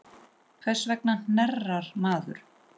Hvers vegna hnerrar maður?